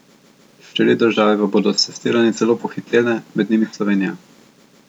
Štiri države pa bodo s testiranji celo pohitele, med njimi Slovenija.